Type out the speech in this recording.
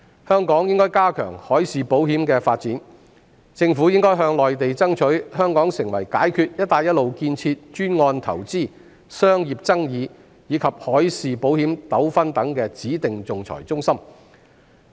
香港應該加強海事保險的發展，政府應該向內地爭取香港成為解決"一帶一路"建設專案投資、商業爭議，以及海事保險糾紛等指定仲裁中心。